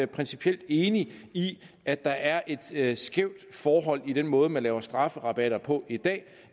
principielt enige i at der er et et skævt forhold i den måde man laver strafferabatter på i dag